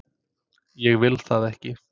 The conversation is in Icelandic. Ég vil það ekki.